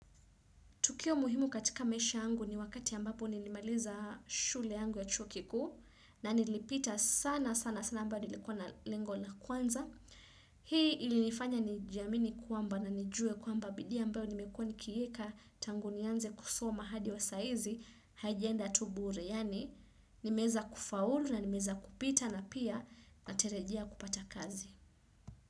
Tukio muhimu katika maisha yangu ni wakati ambapo nilimaliza shule yangu ya chuo kikuu na nilipita sana sana sana ambao nilikuwa na lengo la kwanza. Hii ilinifanya ni jiamini kwamba na nijue kwamba bidhii ambayo nimekuwa nikiiweka tangu nianze kusoma hadi wa saa hizi haijaenda tu bure. Yaani nimeza kufaulu na nimeweza kupita na pia natarajia kupata kazi.